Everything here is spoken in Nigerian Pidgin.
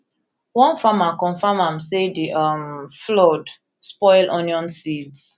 one farmer confam am say di um flood spoil onion seeds